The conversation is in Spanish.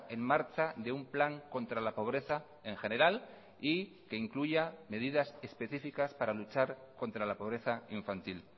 en marcha de un plan contra la pobreza en general y que incluya medidas específicas para luchar contra la pobreza infantil